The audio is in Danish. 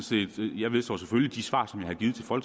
selvfølgelig de svar